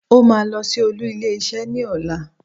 Ó máa lọ sí olú ilé isé ní ọ̀la